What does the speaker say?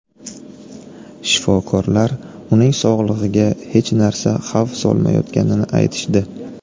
Shifokorlar uning sog‘lig‘iga hech narsa xavf solmayotganini aytishdi.